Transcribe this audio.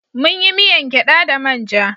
Munyi miyan gyada da manja